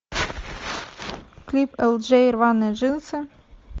клип элджей рваные джинсы